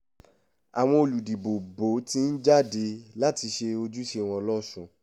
àwọn olùdìbòbò ti ń jáde láti ṣe ojúṣe wọn lọ́sùn